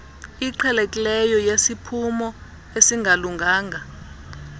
iqhelekileyo yesiphumo esingalunganga